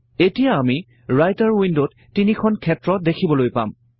এতিয়া আমি ৰাইটাৰ উইন্ডত তিনিখন ক্ষেত্ৰ দেখিবলৈ পাম